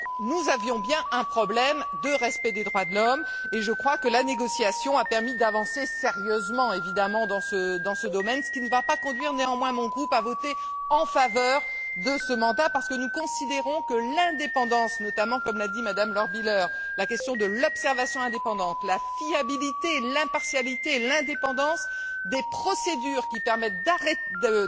Nous avions donc bien un problème de respect des droits de l'homme et je crois que la négociation a permis d'avancer sérieusement dans ce domaine, ce qui ne va néanmoins pas conduire mon groupe à voter en faveur de ce mandat, parce que nous considérons que l'indépendance comme l'a dit notamment Mme Lochbihler la question de l'observation indépendante, la fiabilité, l'impartialité et l'indépendance des procédures qui permettent de